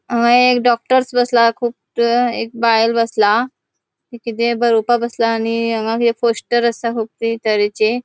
हांगा एक डॉक्टर्स बसला कुब तै एक बायल बसला थे किते बरोवपाक बोसला आणि हांगा एक पोस्टर असा तरेचे.